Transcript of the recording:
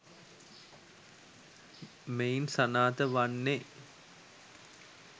මෙයින් සනාථ වන්නේ